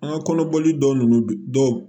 An ka kɔnɔboli dɔw ninnu bi dɔw